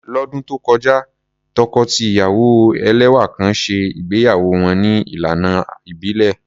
Lọ́dún tó kọjá, tọkọ-tìyàwó ẹlẹ́wà kan ṣe ìgbéyàwó wọn ní ìlànà ìbílẹ̀.